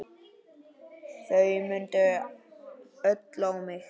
Þau mændu öll á mig.